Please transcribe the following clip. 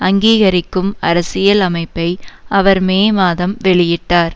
அங்கீகரிக்கும் அரசியல் அமைப்பை அவர் மே மாதம் வெளியிட்டார்